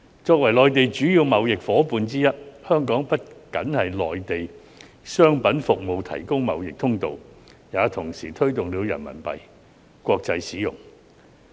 作為內地的主要貿易夥伴之一，香港不僅為內地的商品服務提供貿易通道，也同時推動了人民幣的國際使用。